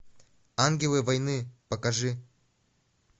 ангелы войны покажи